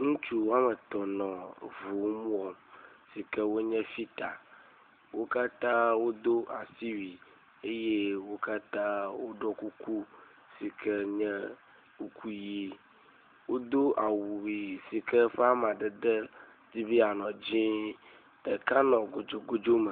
Ŋutsu woametɔ̃ nɔ ŋu mmm wɔm si ke wonye fita. Wo katã wodo asiwui eye woɖo kuku si ke nye kuku ʋi. Wodo awu si ke eƒe amadede di be yeanɔ dzĩĩĩ. Ɖeka nɔ gudzugudzu me.